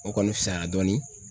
O kɔni fusaya dɔɔni.